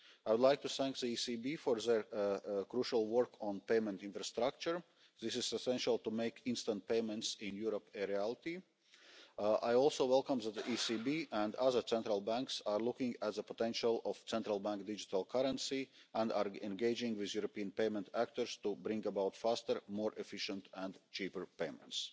assets. I would like to thank the ECB for their crucial work on payment infrastructure. This is essential to make instant payments in Europe a reality. I also welcome that the ECB and other central banks are looking at the potential of central bank digital currency and are engaging with European payment actors to bring about faster, more efficient and cheaper